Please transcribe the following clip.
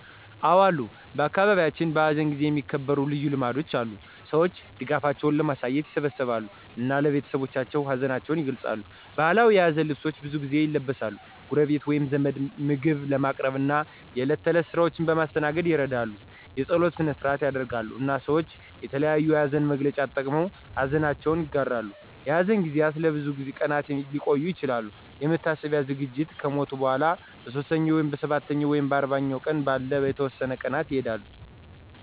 አዎ አሉ በአካባቢያችን፣ በሐዘን ጊዜ የሚከበሩ ልዩ ልማዶች አሉ። ሰዎች ድጋፋቸውን ለማሳየት ይሰበሰባሉ እና ለቤተሰቦቻቸው ሀዘናቸውን ይገልጻሉ። ባህላዊ የሀዘን ልብሶች ብዙ ጊዜ ይለብሳሉ፣ ጎረቤቶች ወይም ዘመዶች ምግብ በማቅረብ እና የእለት ተእለት ስራዎችን በማስተናገድ ይረዳሉ። የጸሎት ሰነ-ሰአት ይደረጋል፣ እና ሰወች የተለያዮ የሀዘን መግለጫዎች ተጠቅመው ሀዘነችውን ይጋራሉ። የሐዘን ጊዜያት ለብዙ ቀናት ሊቆዩ ይችላሉ፣ የመታሰቢያ ዝግጅቶች ከሞቱ በኋላ በሦስተኛው፣ በሰባተኛው ወይም በአርባኛው ቀን ባሉ የተወሰኑ ቀናት ይካሄዳሉ።